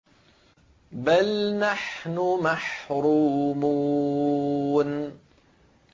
بَلْ نَحْنُ مَحْرُومُونَ